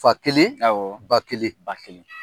Fakelen bakelen ,